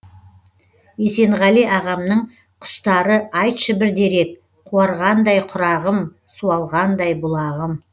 есенғали ағамның құстары айтшы бір дерек қуарғандай құрағым суалғандай бұлағым